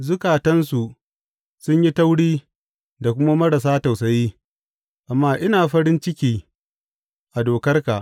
Zukatansu sun yi tauri da kuma marasa tausayi amma ina farin ciki a dokarka.